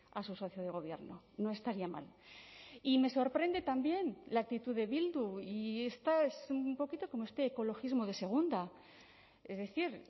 a su socio de gobierno no estaría mal y me sorprende también la actitud de bildu y esta es un poquito como usted ecologismo de segunda es decir